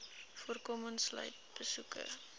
voorkoming sluit besoeke